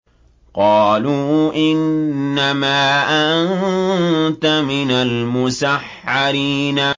قَالُوا إِنَّمَا أَنتَ مِنَ الْمُسَحَّرِينَ